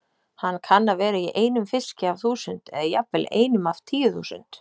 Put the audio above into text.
Hann kann að vera í einum fiski af þúsund, eða jafnvel einum af tíu þúsund.